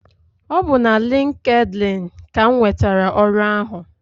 Ọ bu na LinkedIn ka m nwetara ọrụ ahụ.